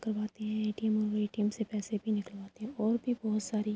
کرواتی ہے۔ ے.ٹی.یم مے ے.ٹی.یم سے پیسے بھی نکلواتے ہے اور بھی بھوت ساری--